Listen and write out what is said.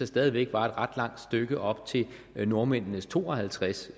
stadig væk var et ret langt stykke op til nordmændenes to og halvtreds